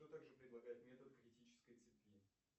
кто также предлагает метод критической цепи